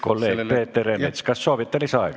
Kolleeg Peeter Ernits, kas soovite lisaaega?